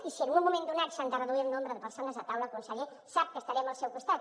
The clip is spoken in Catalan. i si en un moment donat s’han de reduir el nombre de persones a taula conseller sap que estarem al seu costat